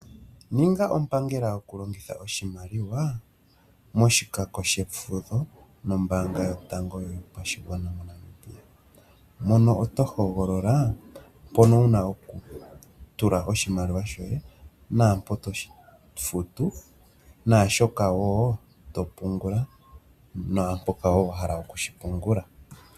Ninga ompangela gokulongitha oshimaliwa moshikako shefudho mombaanga yotango yopashigwana moNamibia. Mono tohoogolola mpono wuna oku tula oshimaliwa shoye naampo toshi futu naashoka woo topungula naampoka woo wahala okushi pungula.